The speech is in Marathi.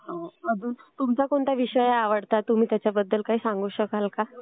आणि तुमचा कुठला विषय आहे आवडता? तुम्ही त्याच्याबद्दल काही सांगू शकाल का?